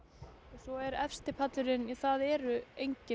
svo er efsti pallurinn það eru engin